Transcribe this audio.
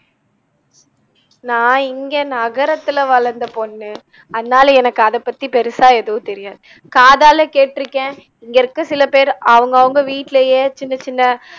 நா இங்கே நகரத்துல வளந்த பொண்ணு அதனால எனக்கு அதபத்தி பெருசா எதுவும் தெரியாது காதால கேட்டிருக்கேன் இங்க இருக்க சில பேரு அவங்கவங்க வீட்டிலயே சின்ன சின்ன